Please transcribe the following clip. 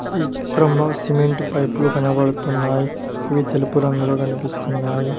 ఈ చిత్రంలో సిమెంట్ పైపులు కనబడుతున్నాయి అవి తెలుపు రంగులో కనిపిస్తున్నాయి.